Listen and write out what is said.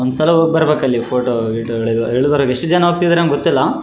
ಅಹ್‌ mask ಅಂತಾ ಕಾಣ್ತಾ ಅದರ ಮೆಲಗಡೆ ಕ್ರಾಸ ಮಾರ್ಕ ಇರೊದ್ರಿಂದ ಯಾವದೊ ಕ್ರಿಶ್ಚನ ವರದ್ದು--